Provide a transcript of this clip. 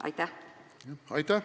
Aitäh!